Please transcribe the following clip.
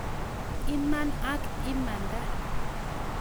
Iman ak imanda